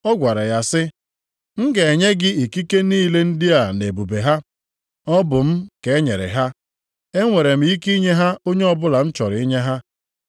Ọ gwara ya sị, “M ga-enye gị ikike niile ndị a na ebube ha. Ọ bụ m ka e nyere ha, e nwere m ike inye ha onye ọbụla m chọrọ inye ha.